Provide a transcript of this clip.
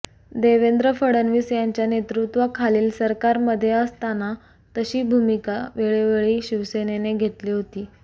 देवेंद्र फडणवीस यांच्या नेतृत्वाखालील सरकारमध्ये असताना तशी भूमिका वेळोवेळी शिवसेनेने घेतली होती